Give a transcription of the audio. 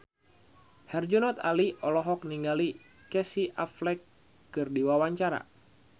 Herjunot Ali olohok ningali Casey Affleck keur diwawancara